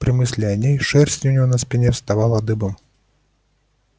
при мысли о ней шерсть у него на спине встала дыбом